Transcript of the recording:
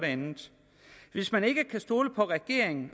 andet hvis man ikke kan stole på regeringen